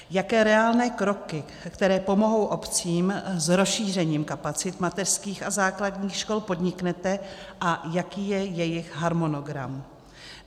Jaké reálné kroky, které pomohou obcím s rozšířením kapacit mateřských a základních škol, podniknete a jaký je jejich harmonogram?